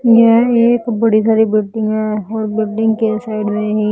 यह एक बड़ी बिल्डिंग है और बिल्डिंग के साइड में ही--